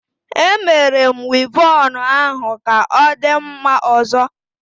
E Mere m Wivọnụ ahu ka odi mma ozo